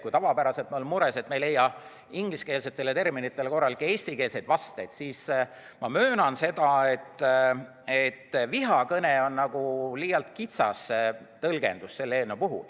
Kui tavapäraselt me oleme mures, et me ei leia ingliskeelsetele terminitele korralikke eestikeelseid vasteid, siis ma möönan seda, et "vihakõne" on selle eelnõu puhul liialt kitsas tõlgendus.